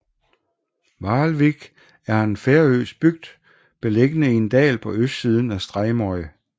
Hvalvík er en færøsk bygd beliggende i en dal på østsiden af Streymoy